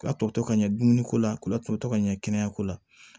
K'a tɔ to ka ɲɛ dumuniko la k'u latutɔ ka ɲɛ kɛnɛyako la